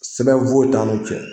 Sɛbɛn foyi t'an n'u cɛ